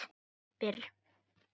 Fyrr en ég varð það.